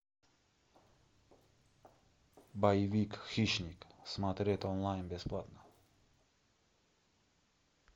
боевик хищник смотреть онлайн бесплатно